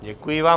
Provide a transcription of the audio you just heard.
Děkuji vám.